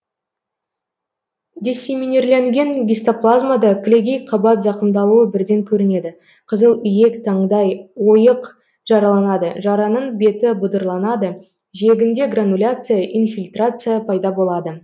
диссеминирленген гистоплазмада кілегей қабат зақымдалуы бірден көрінеді қызыл иек таңдай ойық жараланады жараның беті бұдырланады жиегінде грануляция инфильтрация пайда болады